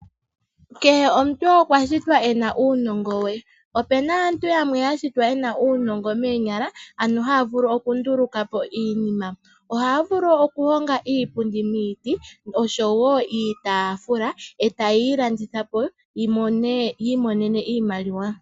Kehe omuntu okwashitwa ena uunongo we .Opuna aantu yamwe yashitwa yena uunongo menyala ano haya vulu okunduluka po iinima .Ohaya vulu okuhonga iipundi miiti osho woo iitafula etayeyi landitha po yi monene iimaliwa .